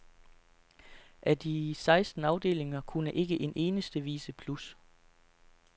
Af de seksten afdelinger kunne ikke en eneste vise plus.